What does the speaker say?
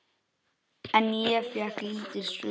En ég fékk lítil svör.